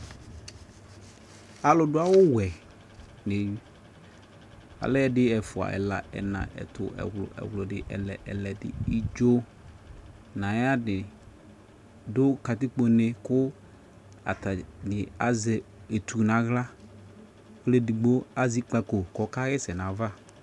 Alu do awuwɛ de, alɛ ɛde, ɛfua ɛla, ɛna, ɛtu, ɛwlu, ɛwludi, ɛlɛ, ɛledi, idzo na ayade do katikpone ko atane azɛ etu nahlaƆlɛ digbo azɛ ikpako kɔka hɛsɛ nava